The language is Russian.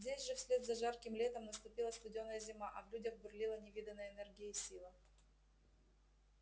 здесь же вслед за жарким летом наступила студёная зима а в людях бурлила невиданная энергия и сила